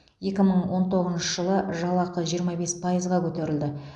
екі мың он тоғызыншы жылы жалақы жиырма бес пайызға көтерілді